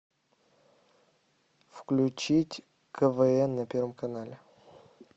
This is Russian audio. включить квн на первом канале